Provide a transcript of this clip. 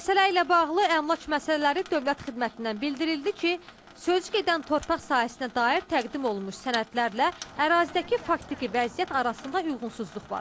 Məsələ ilə bağlı Əmlak Məsələləri Dövlət Xidmətindən bildirildi ki, sözügedən torpaq sahəsinə dair təqdim olunmuş sənədlərlə ərazidəki faktiki vəziyyət arasında uyğunsuzluq var.